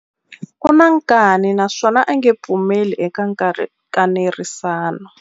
U na nkani naswona a nge pfumeli eka nkanerisano.